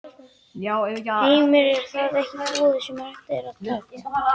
Heimir: Er það ekki boð sem hægt er að taka?